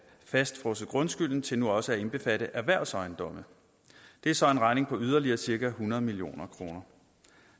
fastfrosset grundskylden til nu også at indbefatte erhvervsejendomme det er så en regning på yderligere cirka hundrede million kroner